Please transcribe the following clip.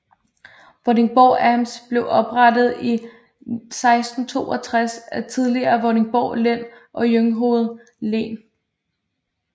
Vordingborg Amt blev oprettet i 1662 af de tidligere Vordingborg Len og Jungshoved len